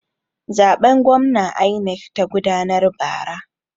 Zaben gwamna INEC ta gudanar bara.